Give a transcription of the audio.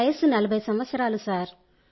వయస్సు 40 సంవత్సరాలు సార్